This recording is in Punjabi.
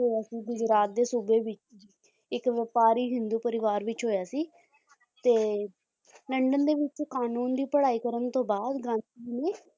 ਹੋਇਆ ਸੀ ਗੁਜਰਾਤ ਦੇ ਸੂਬੇ ਵਿੱਚ ਇੱਕ ਵਾਪਾਰੀ ਹਿੰਦੂ ਪਰਿਵਾਰ ਵਿੱਚ ਹੋਇਆ ਸੀ ਤੇ ਲੰਡਨ ਦੇ ਵਿੱਚ ਕਾਨੂੰਨ ਦੀ ਪੜ੍ਹਾਈ ਕਰਨ ਤੋਂ ਬਾਅਦ ਗਾਂਧੀ ਜੀ ਨੇ